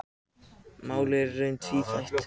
Málið er í raun tvíþætt.